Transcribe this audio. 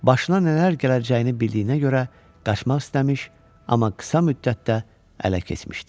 Başına nələr gələcəyini bildiyinə görə qaçmaq istəmiş, amma qısa müddətdə ələ keçmişdi.